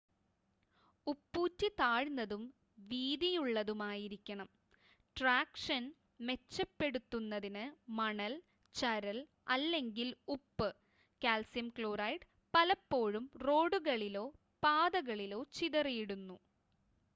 ഉപ്പൂറ്റി താഴ്ന്നതും വീതിയുള്ളതുമായിരിക്കണം. ട്രാക്ഷൻ മെച്ചപ്പെടുത്തുന്നതിന് മണൽ ചരൽ അല്ലെങ്കിൽ ഉപ്പ് കാൽസ്യം ക്ലോറൈഡ് പലപ്പോഴും റോഡുകളിലോ പാതകളിലോ ചിതറിയിടുന്നു